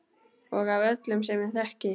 Og af öllum sem ég þekki.